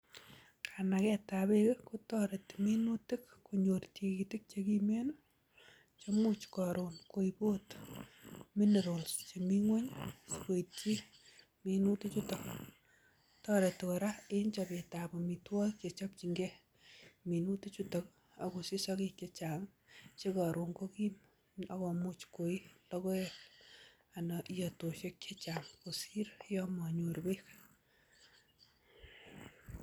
Kanagetab beek kotoreti minutik konyor tigitik che kimen che imuch koron koib ot minerals chemi ngweny asi koityi minutikchuton. Toreti kora en chobetab amitwogik che chopjinge minutik chuto agosich sogek chechang che koron kogim ak komuch koii logoek anan iyotoshek che chang kosir yon monyor beek.